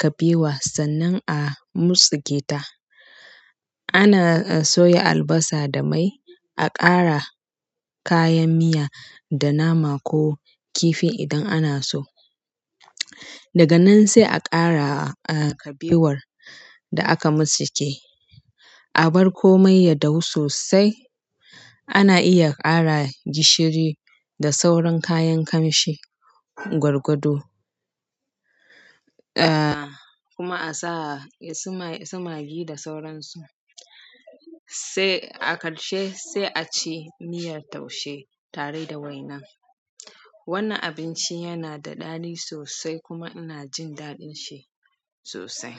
kabewa sannan a mutsike ta. Ana soya albasa da mai, a ƙara kayan miya da nama ko kifi idan ana so. Daga nan sai a ƙara kabewar da aka motsike. A bar komai ya dahu sosai. Ana iya ƙara gishiri da sauran kayan ƙamshi, gwargwado, ah kuma a sa suma, sumagi da sauransu. Sai a ƙarshe sai a ci miyar taushe tare da waina. Wannan abinci yana da ɗadi sosai kuma ina jin daɗin shi sosai.